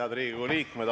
Head Riigikogu liikmed!